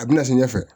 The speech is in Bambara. A bɛna se ɲɛfɛ